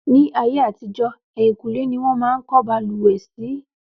Ní ayé àtijó, ẹ̀yìnkùlé ni wọ́n máa ń kọ́ balùwẹ̀ sí